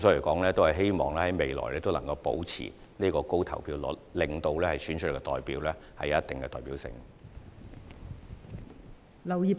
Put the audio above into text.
我們希望未來依然能夠保持這高投票率，令所選出的代表具有一定的代表性。